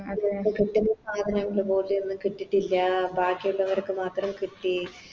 കിട്ടണ്ടേ സാധനങ്ങളതുപോലെയൊന്നും കിട്ടീട്ടില്ല ബാക്കിയുള്ളവർക്ക് മാത്രം കിട്ടി